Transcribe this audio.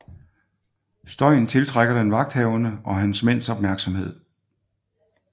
Støjen tiltrækker den vagthavende og hans mænds opmærksomhed